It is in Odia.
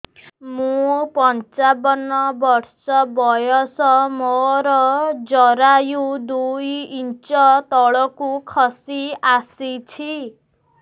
ମୁଁ ପଞ୍ଚାବନ ବର୍ଷ ବୟସ ମୋର ଜରାୟୁ ଦୁଇ ଇଞ୍ଚ ତଳକୁ ଖସି ଆସିଛି